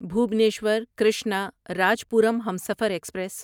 Bhubaneswar Krishnarajapuram Humsafar express